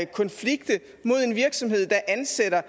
konflikte mod en virksomhed der ansætter